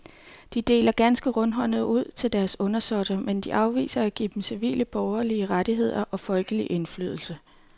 De deler ganske rundhåndet ud til deres undersåtter, mens de afviser at give dem civile borgerlige rettigheder og folkelig indflydelse.